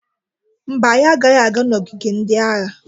Mba, anyị agaghị aga n'ogige ndị agha.